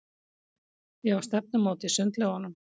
Ég á stefnumót í sundlaugunum.